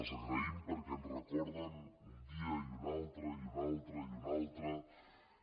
les agraïm perquè ens recorden un dia i un altre i un altre i un altre